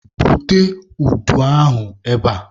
Bute udu ahụ ebe a!